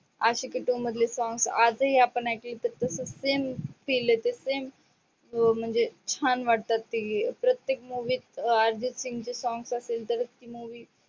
Aashiqui two मधले songs आजही आपण ऐकलं तर तसच same feel येत same म्हणजे छान वाटते. प्रतेक movies त अर्जित सिंग चे song असेल तर movie